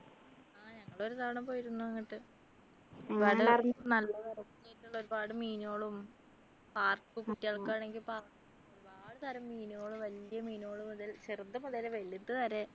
ആഹ് ഞങ്ങൾ ഒരു തവണ പോയിരുന്നു അങ്ങോട്ട് നല്ല തിരക്ക് ഒരുപാട് മീനുകളും park ഉം കുട്ടികൾക്കാണെങ്കിൽ park ഒരുപാട് തരം മീനുകളും വല്യ മീനുകളും മുതൽ ചെറുത് മുതൽ വലുത് വരെ